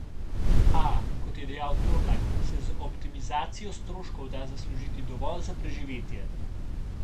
A, kot je dejal Torlak, se z optimizacijo stroškov da zaslužiti dovolj za preživetje.